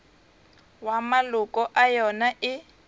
ya maloko a yona e